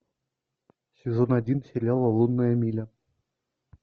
сезон один сериала лунная миля